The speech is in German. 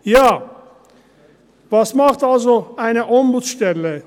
Ja, was macht also eine Ombudsstelle?